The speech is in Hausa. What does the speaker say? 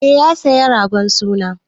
Eh, ya saya ragon suna.